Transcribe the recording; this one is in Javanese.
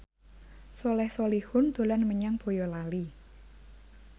Soleh Solihun dolan menyang Boyolali